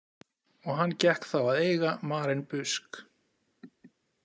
Og hann gekk þá að eiga Maren Busk.